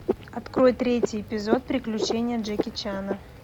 открой третий эпизод приключения джеки чана